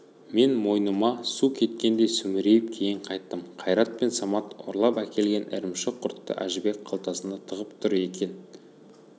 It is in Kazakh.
мен мойныма су кеткендей сүмірейіп кейін қайттым қайрат пен самат ұрлап әкелген ірімшік-құртты әжібек қалтасына тығып тұр екен